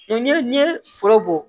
Ni n' ye foro bɔ